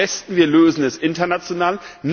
Am besten, wir lösen es international.